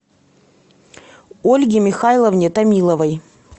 ольге михайловне томиловой